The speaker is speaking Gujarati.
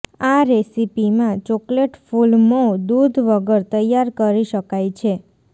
આ રેસીપી માં ચોકલેટ ફુલમો દૂધ વગર તૈયાર કરી શકાય છે